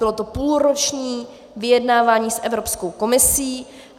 Bylo to půlroční vyjednávání s Evropskou komisí.